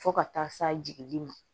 Fo ka taa se jigi ma